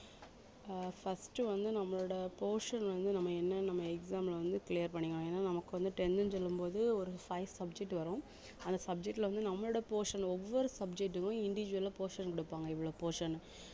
அஹ் first வந்து நம்மளோட portion வந்து நம்ம என்ன நம்ம exam ல வந்து clear பண்ணிக்கலாம் ஏன்னா நமக்கு வந்து ten ன்னு சொல்லும் போது ஒரு five subject வரும் அந்த subject ல வந்து நம்மளோட portion ஒவ்வொரு subject க்கும் individual ஆ portion கொடுப்பாங்க இவ்வளவு portion